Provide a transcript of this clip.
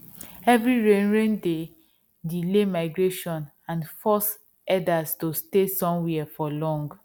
heavy rain rain dey delay migration and force herders to stay somewhere for long